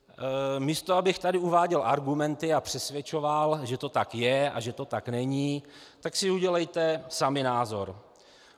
Místo abych tady uváděl argumenty a přesvědčoval, že to tak je a že to tak není, tak si udělejte sami názor.